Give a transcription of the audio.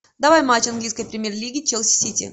давай матч английской премьер лиги челси сити